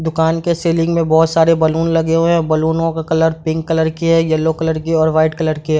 दुकान के सीलिंग में बहोत सारे बैलून हुए है बैलूनो का कलर पिंक कलर की है येल्लो कलर की है और व्हाइट कलर की है।